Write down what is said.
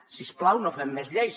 si us plau no fem més lleis